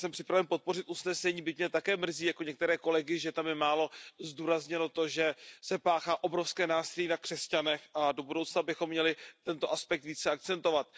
Já jsem připraven podpořit usnesení, byť mě také mrzí, jako některé kolegy, že tam je málo zdůrazněno to, že se páchá obrovské násilí na křesťanech, a do budoucna bychom měli tento aspekt více akcentovat.